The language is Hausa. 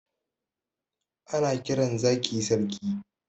Ana kiran zaki sarki